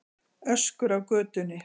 Öskur af götunni.